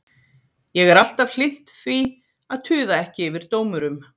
Ég er alltaf hlynnt því að tuða ekki yfir dómurum.